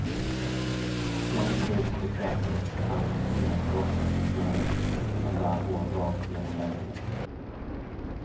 Längst upp på skaftet fanns inga krokar för snöret, utan bara hål rakt genom lädret.